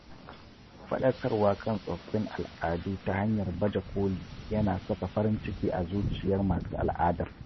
Fadakarwa kan tsoffin al’adu ta hanyar baje koli ya na saka farin ciki a zuciyar masu al'adar.